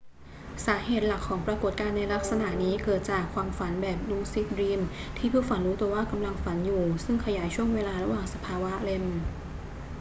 สาเหตุหลักของปรากฏการณ์ในลักษณะนี้เกิดจากความฝันแบบลูซิดดรีมที่ผู้ฝันรู้ตัวว่ากำลังฝันอยู่ซึ่งขยายช่วงเวลาระหว่างสภาวะ rem